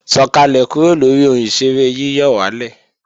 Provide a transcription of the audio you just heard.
Sọ̀kàlẹ̀ kúrò lóri ohun ìṣeré yíyọ̀wálè!